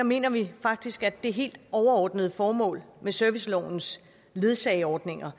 mener vi faktisk at det helt overordnede formål med servicelovens ledsageordninger